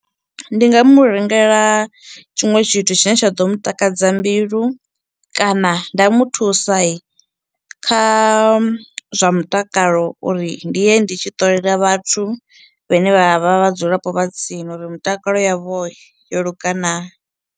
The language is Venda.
Ndi nga mu rengela tshiṅwe tshithu tshine tsha ḓo mu takadza mbilu, kana nda muthusai kha zwa mutakalo uri ndi ye ndi tshi ṱolela vhathu vhane vha vha vhadzulapo vha tsini uri mutakalo yavho yo luga naa.